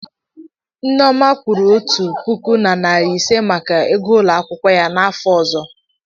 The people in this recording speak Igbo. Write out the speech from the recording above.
nneoma kwụrụ otu puku na narị ise maka ego ụlọ akwụkwọ ya n'afọ ọzọ.